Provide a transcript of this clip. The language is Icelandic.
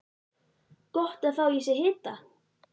Gott að fá í sig hita.